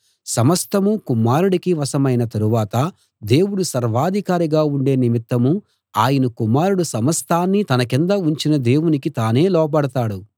సమస్తమూ కుమారుడికి వశమైన తరువాత దేవుడు సర్వాధికారిగా ఉండే నిమిత్తం ఆయన కుమారుడు సమస్తాన్నీ తన కింద ఉంచిన దేవునికి తానే లోబడతాడు